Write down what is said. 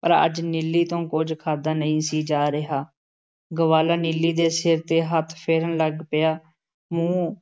ਪਰ ਅੱਜ ਨੀਲੀ ਤੋਂ ਕੁੱਝ ਖਾਧਾ ਨਹੀਂ ਸੀ ਜਾ ਰਿਹਾ । ਗਵਾਲਾ ਨੀਲੀ ਦੇ ਸਿਰ ਤੇ ਹੱਥ ਫੇਰਨ ਲੱਗ ਪਿਆ, ਮੂੰਹ